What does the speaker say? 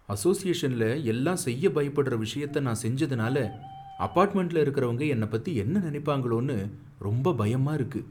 அசோசியேஷன்ல எல்லாம் செய்ய பயப்படுற விஷயத்த நான் செஞ்சதுனால அபார்ட்மெண்ட்ல இருக்கிறவங்க என்ன பத்தி என்ன நினைப்பாங்களோனு ரொம்ப பயமா இருக்கு.